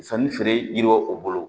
Sanni feere yiriw o bolo